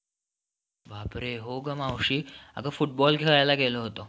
बापरे हो ग मावशी आग खेळायला गेलो होतो